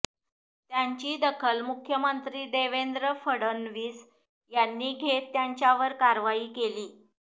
त्याची दखल मुख्यमंत्री देवेंद्र फडणवीस यांनी घेत त्यांच्यावर कारवाई केली